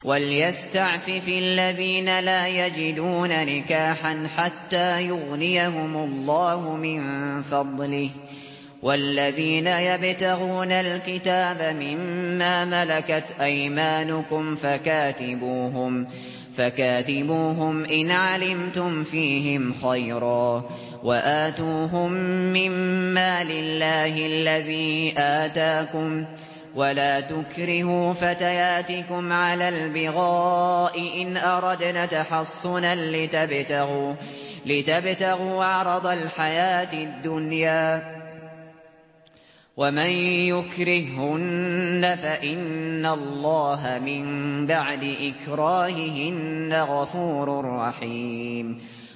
وَلْيَسْتَعْفِفِ الَّذِينَ لَا يَجِدُونَ نِكَاحًا حَتَّىٰ يُغْنِيَهُمُ اللَّهُ مِن فَضْلِهِ ۗ وَالَّذِينَ يَبْتَغُونَ الْكِتَابَ مِمَّا مَلَكَتْ أَيْمَانُكُمْ فَكَاتِبُوهُمْ إِنْ عَلِمْتُمْ فِيهِمْ خَيْرًا ۖ وَآتُوهُم مِّن مَّالِ اللَّهِ الَّذِي آتَاكُمْ ۚ وَلَا تُكْرِهُوا فَتَيَاتِكُمْ عَلَى الْبِغَاءِ إِنْ أَرَدْنَ تَحَصُّنًا لِّتَبْتَغُوا عَرَضَ الْحَيَاةِ الدُّنْيَا ۚ وَمَن يُكْرِههُّنَّ فَإِنَّ اللَّهَ مِن بَعْدِ إِكْرَاهِهِنَّ غَفُورٌ رَّحِيمٌ